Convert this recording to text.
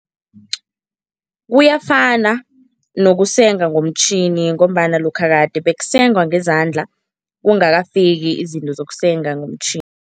Kuyafana nokusenga ngomtjhini ngombana lokha kade bekusengwa ngezandla, kungakafika izinto zokusenga ngomtjhini.